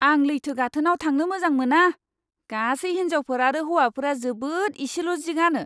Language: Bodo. आं लैथो गाथोनआव थांनो मोजां मोना। गासै हिनजावफोर आरो हौवाफोरा जोबोद इसेल' जि गानो!